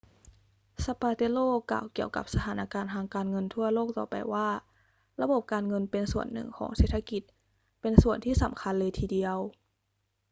zapatero กล่าวเกี่ยวกับสถานการณ์ทางการเงินทั่วโลกต่อไปว่า ระบบการเงินเป็นส่วนหนึ่งของเศรษฐกิจ เป็นส่วนที่สำคัญเลยทีเดียว